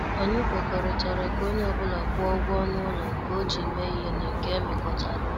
Anyị kwekọrịtara ka onye ọ bụla kwụọ ụgwọ ọnụ ụlọ nke o ji mee ihe na nke emekotara ọnụ